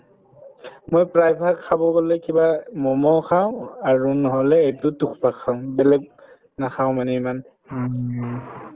মই প্ৰায়ভাগ খাব গলে কিবা মম খাওঁ আৰু নহলে এইটো থুপ্পা খাওঁ বেলেগ নাখাওঁ মানে ইমান